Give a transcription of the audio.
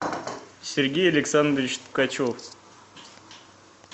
сергей александрович ткачев